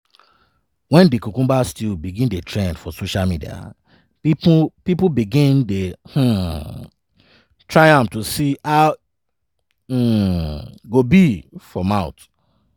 wen di cucumber stew begin dey trend for social media pipo begin dey um try am to see how e um go be for mouth.